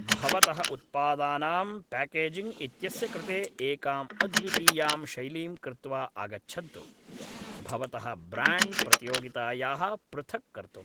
भवतः उत्पादानाम् प्याकेजिङ्ग् इत्यस्य कृते एकाम् अद्वितीयां शैलीं कृत्वा आगच्छन्तु, भवतः ब्राण्ड् प्रतियोगितायाः पृथक् कर्तुं।